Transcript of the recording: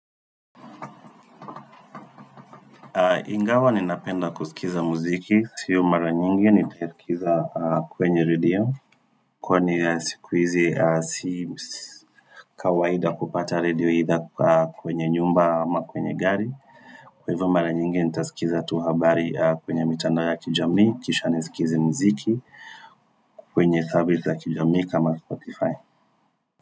Ingawa ni napenda kusikiza muziki. Siyo mara nyingi ni kisikiza kwenye redio. Kwa ni sikuizi si kawaida kupata redio idha kwenye nyumba ama kwenye gari. Kwa hivyo mara nyingi ni tasikiza tu habari kwenye mitandao ya kijami. Kisha nisikizi mziki kwenye service ya kijami kama Spotify.